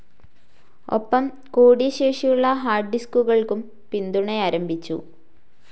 ഒപ്പം കൂടിയ ശേഷിയുള്ള ഹാർഡ്‌ ഡിസ്കുകൾക്കും പിന്തുണയാരംഭിച്ചു.